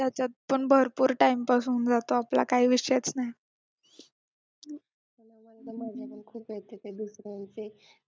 त्याच्यात पण भरपूर time pass होऊन जातो आपला काही विषयच नाही